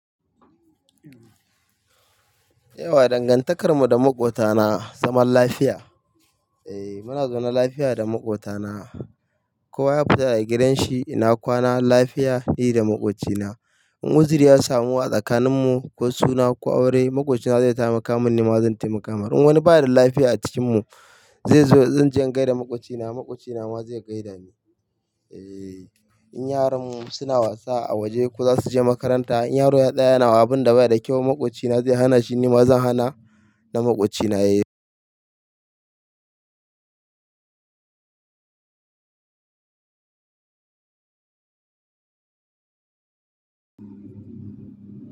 Yauwa dangantakar mu da maƙwotana, zaman lafiya. Eh muna zaune lafiya da maƙwotana. Kowa ya fita daga gidan shi ina kwana lafiya ni da maƙwocina. In wuziri ya samu a tsakanin mu ko suna ko aure, maƙwabcina zai taimaka min, ni ma zan taimaka mar. In wani ba da lafiya a cikin mu, zai zo zan je in gaida maƙwabcina, maƙwabcina ma zai gaida ni. Eh, in yaran mu suna wasa a waje ko za su je makaranta. In yaro tsaaya yana wa abin da ba yada kyau, maƙwabcina zai hana shi, ni ma zan hana na maƙwabcina ya yi.